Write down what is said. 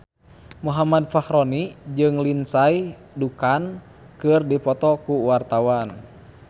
Muhammad Fachroni jeung Lindsay Ducan keur dipoto ku wartawan